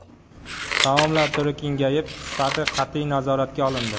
Taomlar turi kengayib, sifati qat’iy nazoratga olindi.